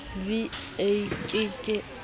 v a ke ke a